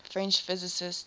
french physicists